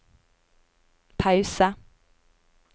pause